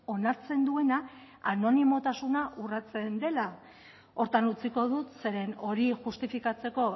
onartzen duena anonimotasuna urratzen dela horretan utziko dut zeren hori justifikatzeko